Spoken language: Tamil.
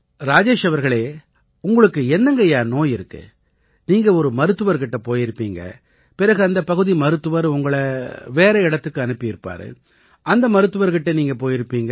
ராஜேஷ் அவர்களே உங்களுக்கு என்னங்கய்யா நோய் இருக்கு நீங்க ஒரு மருத்துவர் கிட்ட போயிருப்பீங்க பிறகு அந்தப் பகுதி மருத்துவர் உங்களை வேற இடத்துக்கு அனுப்பியிருப்பாரு அந்த மருத்துவர்கிட்ட நீங்க போயிருப்பீங்க